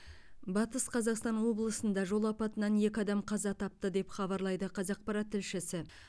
батыс қазақстан облысында жол апатынан екі адам қаза тапты деп хабарлайды қазақпарат тілшісі